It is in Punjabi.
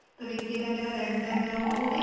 ਤਰੀਕੇ ਦਾ ਏ ਮੇਰਾ red ਏ ਉਹਦੇ